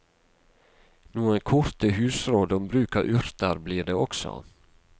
Noen korte husråd om bruk av urter blir det også.